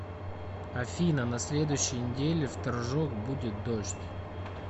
афина на следующей неделе в торжок будет дождь